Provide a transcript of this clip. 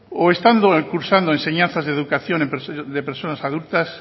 o estando cursando enseñanzas de educación de personas adultas